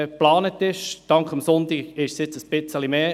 Dank der Abstimmung von Sonntag hat sich das ein wenig erhöht.